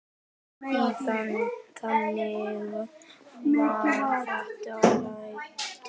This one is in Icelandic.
Þannig varð þetta lag til.